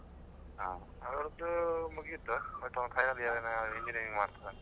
ಹಾ ಅವ್ರ್ದು ಮುಗೀತು, ಈಗ final year engineering ಮಾಡ್ತಿದ್ದಾನೆ.